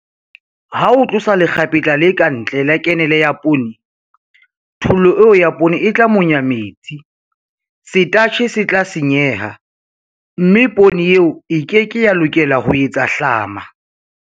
Ha o tlosa lekgapetla le ka ntle la kenele ya poone, thollo eo ya poone e tla monya metsi, setatjhe se tla senyeha, mme poone eo e ke ke ya lokela ho etsa hlama.